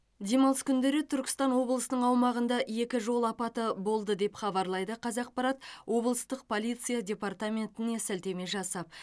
демалыс күндері түркістан облысының аумағында екі жол апаты болды деп хабарлайды қазақпарат облыстық полиция департаментіне сілтеме жасап